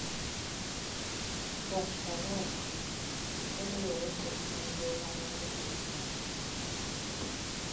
Kat Pollock, kaluwore kod nonro mane otim chon.